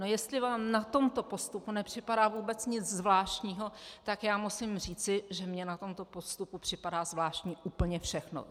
No jestli vám na tomto postupu nepřipadá vůbec nic zvláštního, tak já musím říci, že mně na tomto postupu připadá zvláštní úplně všechno.